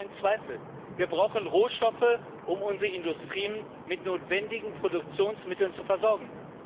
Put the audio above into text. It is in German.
Kein Zweifel wir brauchen Rohstoffe, um unsere Industrien mit notwendigen Produktionsmitteln zu versorgen.